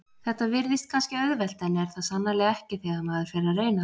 Þetta virðist kannski auðvelt en er það sannarlega ekki þegar maður fer að reyna það.